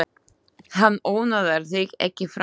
Hann ónáðar þig ekki framar.